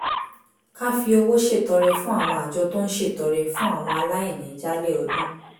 ká fi owó ṣètọrẹ fún àwọn àjọ tó ń ṣètọrẹ fún àwọn aláìní jálẹ̀ ọdún